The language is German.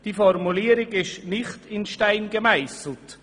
Diese Formulierung ist nicht in Stein gemeisselt.